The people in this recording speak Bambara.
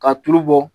Ka tulu bɔ